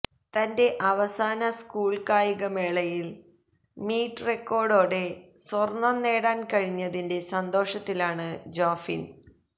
തന്റെ അവസാന സ്കൂള് കായികമേളയില് മീറ്റ് റക്കേര്ഡോടെ സ്വര്ണ്ണം നേടാന് കഴിഞ്ഞതിന്റെ സന്തോഷത്തിലാണ് ജോഫിന്